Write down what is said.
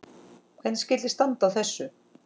Hvernig skyldi standa á þessu?